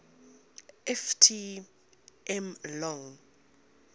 ft m long